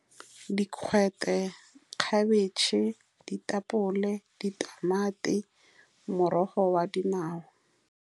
Dikgwete, khabetšhe, ditapole, ditamati, morogo wa dinawa.